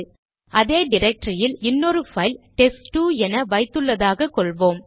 அதே டிரக்டரியில் இன்னொரு பைல் டெஸ்ட்2 என வைத்துள்ளதாக கொள்வோம்